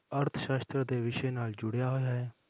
ਅਰਥ ਸਾਸ਼ਤਰ ਦੇ ਵਿਸ਼ੇ ਨਾਲ ਜੁੜਿਆ ਹੋਇਆ ਹੈ?